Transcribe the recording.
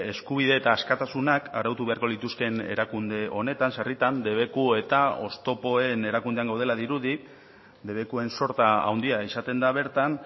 eskubide eta askatasunak arautu beharko lituzkeen erakunde honetan sarritan debeku eta oztopoen erakundean gaudela dirudi debekuen sorta handia izaten da bertan